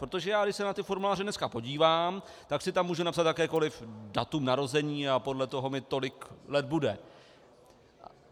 Protože já když se na ty formuláře dneska podívám, tak si tam můžu napsat jakékoli datum narození a podle toho mi tolik let bude.